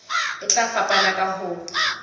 e tla fapana ka ho